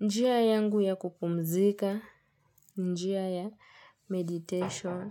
Njia yangu ya kupumzika. Njia ya meditation.